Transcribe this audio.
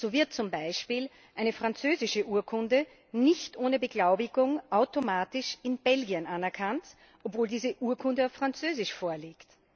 So wird zum Beispiel eine französische Urkunde nicht ohne Beglaubigung automatisch in Belgien anerkannt, obwohl diese Urkunde auf Französisch vorliegt.